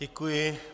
Děkuji.